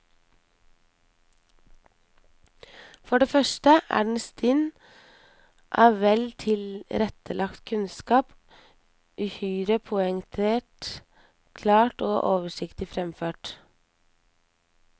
For det første er den stinn av vel tilrettelagt kunnskap, uhyre poengtert, klart og oversiktlig fremført.